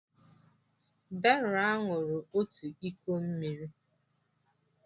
Deraa ṅụrụ òtù iko mmiri.